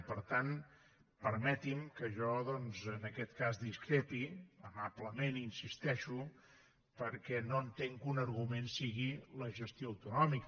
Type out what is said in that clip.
i per tant permeti’m que jo doncs en aquest cas discrepi amablement hi insisteixo perquè no entenc que un argument sigui la gestió autonòmica